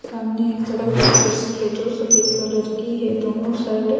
सामने एक सड़क दिख रही है जो सफेद कलर की है दोनों साइड --